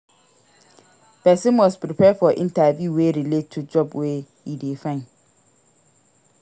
Persin must prepare for interview wey relate to job wey e de find